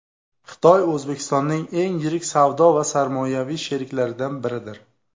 Xitoy O‘zbekistonning eng yirik savdo va sarmoyaviy sheriklaridan biridir.